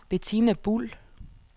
Betina Buhl